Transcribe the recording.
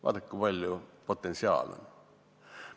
Vaadake, kui palju potentsiaali meil on!